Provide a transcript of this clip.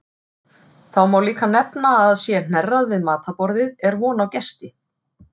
Þá má líka nefna að sé hnerrað við matarborðið er von á gesti.